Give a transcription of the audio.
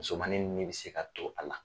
Musomannin ni bɛ se ka to a la.